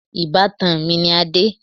Ìbátan mi ni Adé.